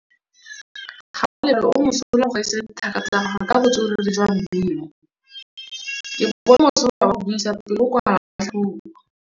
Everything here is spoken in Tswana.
Gaolebalwe o mosola go gaisa dithaka tsa gagwe ka botswerere jwa mmino. Ke bone mosola wa go buisa pele o kwala tlhatlhobô.